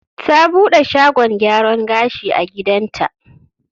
Ta buɗe shagon gyaran gashi a gidanta.